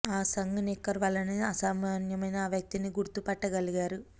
ఆ సంఘ్ నిక్కర్ వలననే అసామాన్యమైన ఆ వ్యక్తిని గుర్తు పట్టగలిగారు